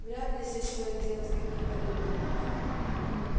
вряд ли здесь стоит делать какие-то выводы